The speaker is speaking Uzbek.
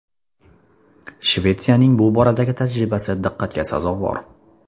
Shvetsiyaning bu boradagi tajribasi diqqatga sazovor.